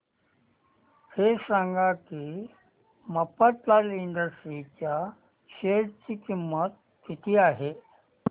हे सांगा की मफतलाल इंडस्ट्रीज च्या शेअर ची किंमत किती आहे